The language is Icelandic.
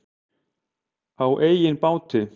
Á eigin báti.